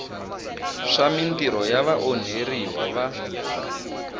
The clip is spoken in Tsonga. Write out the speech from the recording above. swa mintirho ya vaonheriwa va